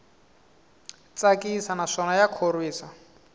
tsakisa naswona ya khorwisa